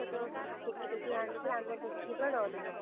ଟେକି ଟେକି ଆଣିଥିଲେ ଆମେ ଦେଖିକି ପୁରା ଡରିଗଲୁ।